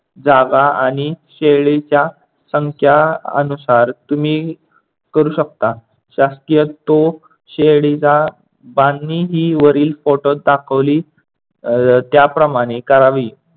जागा आणि शेळीच्या संख्या अनुसार तुम्ही करू शकता. शासकीय तो शेळीला बांधणी ही वरील फोटोत दाखवली अह त्याप्रमाणे करावी.